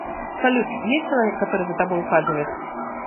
салют есть человек который за тобой ухаживает